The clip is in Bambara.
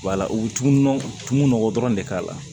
Wala u bɛ nɔgɔ tun nɔgɔn dɔrɔn de k'a la